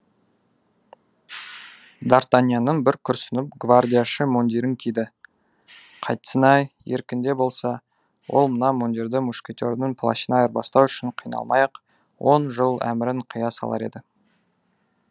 дартаньяның бір күрсініп гвардияшы мундирін киді қайтсін ай еркінде болса ол мына мундирді мушкетердің плащына айырбастау үшін қиналмай ақ он жыл әмірін қия салар еді